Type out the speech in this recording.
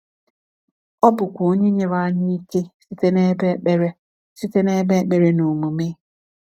Ọ bụkwa Onye nyere anyị ike site n’ebe ekpere site n’ebe ekpere na omume.